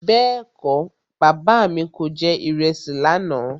Bẹ́ẹ̀kọ́, Bàbá mi kò jẹ ìrẹsì lànà.